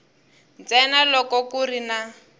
ntsena loko ku ri na